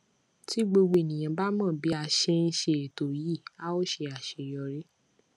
tí gbogbo ènìyàn bá mọ bí a ṣe ń ṣe ètò yìí a ó ṣe àṣeyọrí